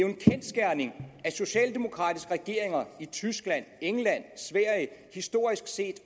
en kendsgerning at socialdemokratiske regeringer i tyskland england og sverige historisk set